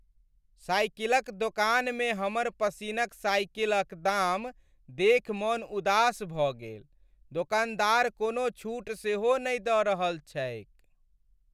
साइकिलक दोकानमे हमर पसिनक साइकिलक दाम देखि मन उदास भऽ गेल। दोकानदार कोनो छूट सेहो नहि दऽ रहल छैक।